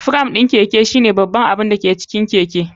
Firam ɗin Keke shine babban abin da ke cikin keke.